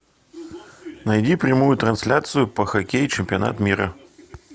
найди прямую трансляцию по хоккею чемпионат мира